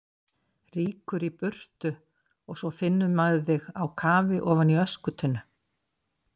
Rýkur í burtu og svo finnur maður þig á kafi ofan í öskutunnu!